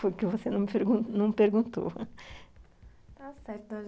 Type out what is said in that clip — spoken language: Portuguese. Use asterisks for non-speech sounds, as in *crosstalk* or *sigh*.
Foi o que você não não *laughs* perguntou.